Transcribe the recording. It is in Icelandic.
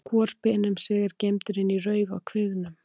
Hvor speni um sig er geymdur inni í rauf á kviðnum.